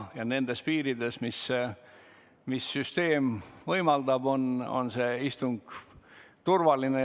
Ja nendes piirides, mis süsteem võimaldab, on see istung turvaline.